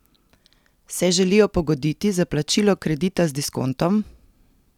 Se želijo pogoditi za plačilo kredita z diskontom?